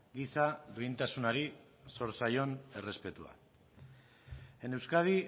giza duintasunari zor zaion errespetua en euskadi